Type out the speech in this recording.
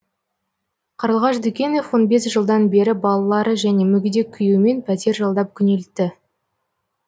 қарлығаш дүкенов он бес жылдан бері балалары және мүгедек күйеуімен пәтер жалдап күнелтті